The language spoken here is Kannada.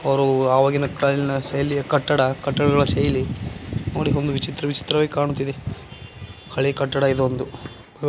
ಅವರು ಅವಾಗಿನ ಕಾಲಿನ ಶೈಲಿಯ ಕಟ್ಟಡ ಕಟ್ಟಡಗಳ ಶೈಲಿ ಅವರಿಗೆ ಒಂದು ವಿಚಿತ್ರ ವಿಚಿತ್ರವಾಗಿ ಕಾಣುತ್ತಿದೆ. ಹಳೆ ಕಟ್ಟಡ ಇದು ಒಂದು --